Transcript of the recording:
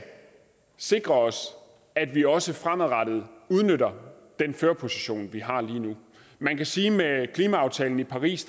sikre at vi også fremadrettet udnytter den førerposition vi har lige nu man kan sige at med klimaaftalen i paris